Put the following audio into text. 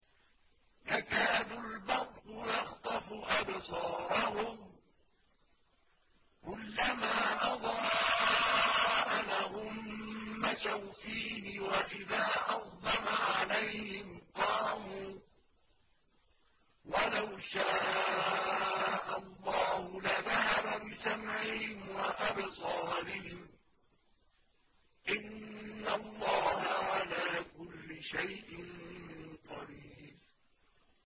يَكَادُ الْبَرْقُ يَخْطَفُ أَبْصَارَهُمْ ۖ كُلَّمَا أَضَاءَ لَهُم مَّشَوْا فِيهِ وَإِذَا أَظْلَمَ عَلَيْهِمْ قَامُوا ۚ وَلَوْ شَاءَ اللَّهُ لَذَهَبَ بِسَمْعِهِمْ وَأَبْصَارِهِمْ ۚ إِنَّ اللَّهَ عَلَىٰ كُلِّ شَيْءٍ قَدِيرٌ